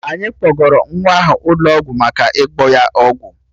Anyị kpọgara nwa ahụ ụlọ ọgwụ maka ịgba ya ọgwụ